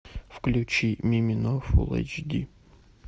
включи мимино фулл эйч ди